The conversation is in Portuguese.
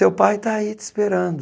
Seu pai está aí te esperando.